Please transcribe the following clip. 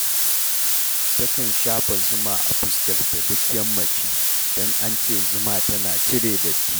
Takan shafa zuma a fuskarta duk yammaci, don an ce zuma tana cire datti